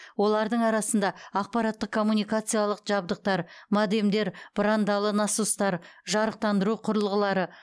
олардың арасында ақпараттық коммуникациялық жабдықтар модемдер бұрандалы насостар жарықтандыру құрылғылары